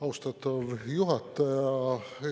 Austatav juhataja!